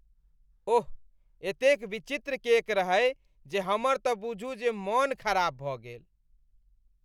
ओह, एतेक विचित्र केक रहै जे हमर तँ बुझू जे मन खराब भऽ गेल।